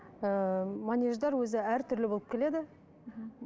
ыыы манеждер өзі әртүрлі болып келеді